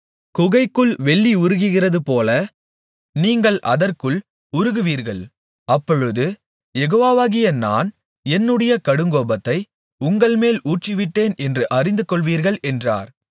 குகைக்குள் வெள்ளி உருகுகிறதுபோல நீங்கள் அதற்குள் உருகுவீர்கள் அப்பொழுது யெகோவாகிய நான் என்னுடைய கடுங்கோபத்தை உங்கள்மேல் ஊற்றிவிட்டேன் என்று அறிந்து கொள்வீர்கள் என்றார்